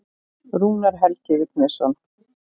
Rúnar Helgi Vignisson.